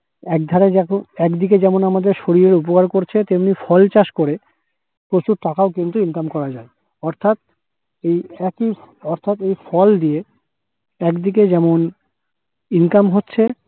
একধারে যেমন একদিকে যেমন আমাদের শরীরের উপকার করছে তেমনিই ফল চাষ করে প্রচুর টাকাও কিন্তু income করা যায় অর্থাৎ এই একই অর্থাৎ এই ফল দিয়ে একদিকে যেমন income হচ্ছে